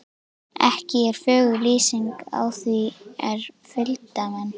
Ekki er fögur lýsingin á því er fylgdarmenn